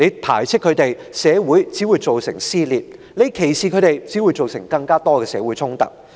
排斥他們，只會造成社會撕裂；歧視他們，只會造成更多的社會衝突。